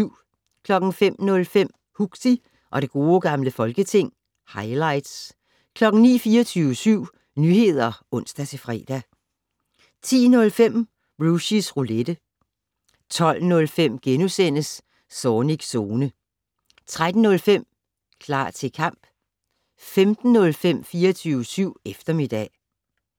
05:05: Huxi og det gode gamle folketing - highlights 09:00: 24syv Nyheder (ons-fre) 10:05: Rushys Roulette 12:05: Zornigs Zone * 13:05: Klar til kamp 15:05: 24syv eftermiddag